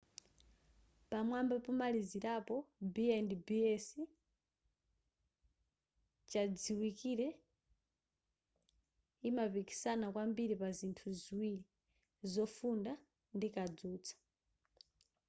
pamwamba pomalizirapo b&bs chachidziwikire imapikisana kwambiri pa zinthu ziwiri zofunda ndi kadzutsa